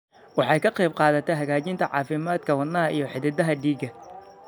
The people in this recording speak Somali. Waxay ka qaybqaadataa hagaajinta caafimaadka wadnaha iyo xididdada dhiigga.